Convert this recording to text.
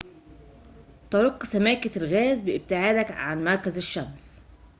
ترق سماكة الغاز بابتعادك عن مركز الشمس